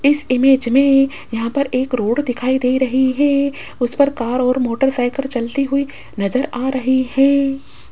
इस इमेज मे यहां पर एक रोड दिखाई दे रही है उस पर कार और मोटरसाइकेल चलती हुई नज़र आ रही है।